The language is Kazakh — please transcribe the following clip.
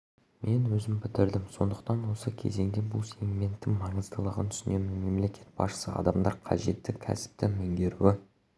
мен өзім бітірдім сондықтан осы кезеңде бұл сегменттің маңыздылығын түсінемін мемлекет басшысы адамдар қажетті кәсіпті меңгеруі